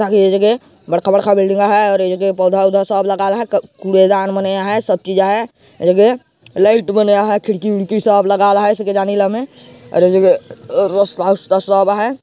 ए जगह बड़का बड़का बिल्डिंग है और ए जगह पौधा औधा सब लगल हे कूड़े दान मनेया हे सब चीज़ हे ये लगे एक लाइट मन हे खिड़की उडकी सब लगल है सफेदा नीला में और ए जगिहे रास्ता उस्ता सब हे।